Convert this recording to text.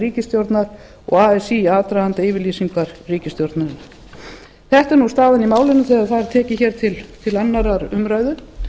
ríkisstjórnar og así í aðdraganda yfirlýsingar ríkisstjórnarinnar þetta er staðan í málinu þegar það er tekið til annarrar umræðu